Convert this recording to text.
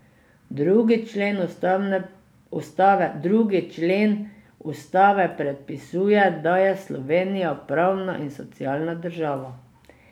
Drugi člen ustave predpisuje, da je Slovenija pravna in socialna država.